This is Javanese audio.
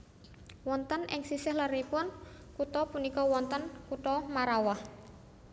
Wonten ing sisih leripun kutha punika wonten kutha Marrawah